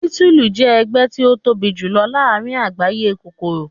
bitulu jẹ ẹgbẹ ti o tobi julọ laarin agbaye kokoro.